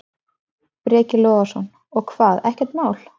Breki Logason: Og hvað, ekkert mál?